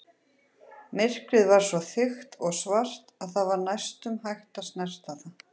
Myrkrið var svo þykkt og svart að það var næstum hægt að snerta það.